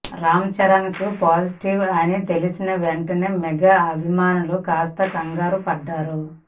రామ్ చరణ్కు పాజిటివ్ అని తెలిసిన వెంటనే మెగా అభిమానులు కాస్త కంగారు పడ్డారు